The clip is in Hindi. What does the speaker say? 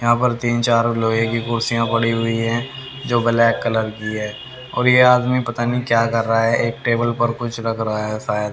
यहां पर तीन चार लोहे की कुर्सियां पड़ी हुई है जो ब्लैक कलर की है और ये आदमी पता नहीं क्या कर रहा है एक टेबल पर कुछ रख रहा है शायद--